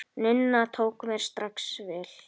Nunna tók mér strax vel.